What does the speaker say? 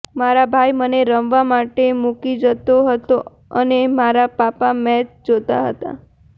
મારા ભાઇ મને રમવા માટે મૂકી જતો હતો અને મારા પાપા મેચ જોતા હતાં